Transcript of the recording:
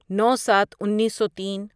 نو سات انیسو تین